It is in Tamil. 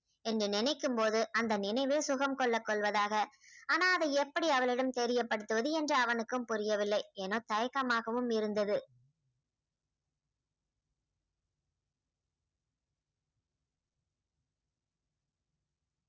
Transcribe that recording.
என்று நினைக்கும் போது அந்த நினைவே சுகம் கொள்ள கொள்வதாக ஆனா அதை எப்படி அவளிடம் தெரியப்படுத்துவது என்று அவனுக்கும் புரியவில்லை ஏன்னா தயக்கமாகவும் இருந்தது